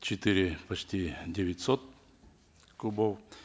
четыре почти девятьсот кубов